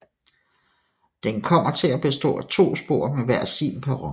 Den kommer til at bestå af to spor med hver sin perron